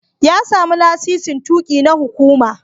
Ya sami lasisin tuƙi na hukuma.